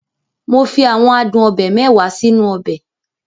Mo fi àwọn adun obe mẹ́wàá sínú ọbẹ̀.